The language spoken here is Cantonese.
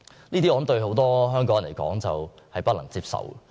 我相信這對很多香港人來說均屬不能接受。